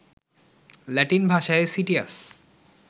Latin ভাষায় citius